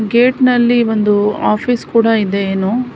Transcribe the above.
Gate ನಲ್ಲಿ ಒಂದು office ಕೂಡ ಇದೆಯೇನೋ.